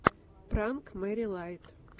пранк мэри лайт